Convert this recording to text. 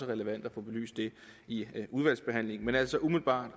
relevant at få belyst i udvalgsbehandlingen men altså umiddelbart